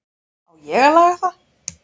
Á ég að laga það?